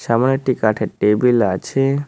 এমন একটি কাঠের টেবিল আছে।